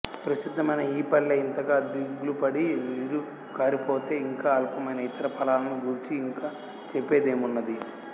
ప్రసిద్ధ మైన ఈపళ్ళే ఇంతగా దిగులుపడి నీరుకారిపోతే ఇంక అల్పమైన ఇతర ఫలాలను గూర్చి ఇంక చెప్పేదేమున్నది